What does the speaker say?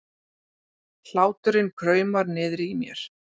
Hláturinn kraumar niðri í mér.